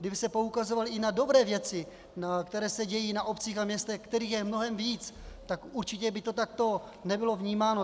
Kdyby se poukazovalo i na dobré věci, které se dějí na obcích a městech, kterých je mnohem víc, tak určitě by to takto nebylo vnímáno.